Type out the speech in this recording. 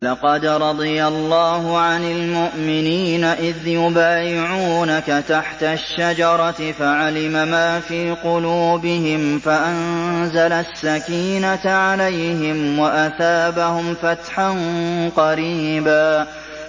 ۞ لَّقَدْ رَضِيَ اللَّهُ عَنِ الْمُؤْمِنِينَ إِذْ يُبَايِعُونَكَ تَحْتَ الشَّجَرَةِ فَعَلِمَ مَا فِي قُلُوبِهِمْ فَأَنزَلَ السَّكِينَةَ عَلَيْهِمْ وَأَثَابَهُمْ فَتْحًا قَرِيبًا